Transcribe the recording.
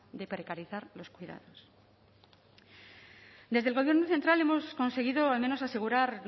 de precarizar los cuidados desde el gobierno central hemos conseguido al menos asegurar